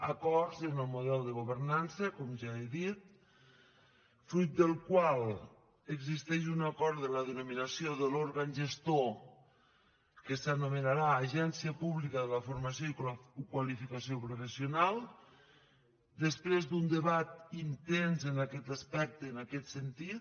acords en el model de governança com ja he dit fruit del qual existeix un acord de la denominació de l’òrgan gestor que s’anomenarà agència pública de la formació i la qualificació professional després d’un debat intens en aquest aspecte en aquest sentit